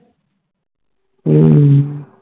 ਹੱਮ